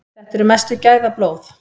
Þetta eru mestu gæðablóð.